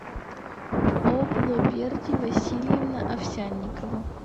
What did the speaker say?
облоберди васильевна овсянникова